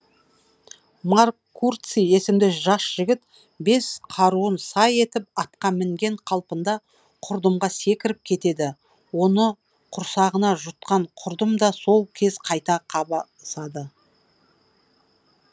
марк курций есімді жас жігіт бес қаруын сай етіп атқа мінген қалпында құрдымға секіріп кетеді оны құрсағына жұтқан құрдым да сол кез қайта қабысады